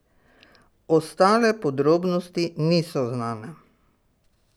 Ostale podrobnosti niso znane.